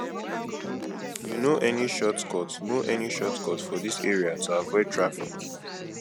you know any shortcut know any shortcut for dis area to avoid traffic